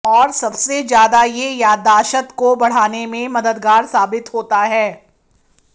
और सबसे ज्यादा ये याद्दाशत को बढ़ाने में मददगार साबित होता है